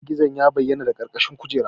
Gizo-gizo ya bayyana daga ƙarƙashin kujera.